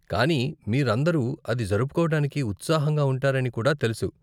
కానీ మీరందరూ అది జరుపుకోవటానికి ఉత్సాహంగా ఉంటారని కూడా తెలుసు.